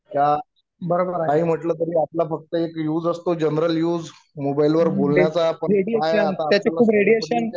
काही म्हटलं तरी आपला एक यूज असतो जनरल युज मोबाईल वर बोलण्याचा आपण काय आता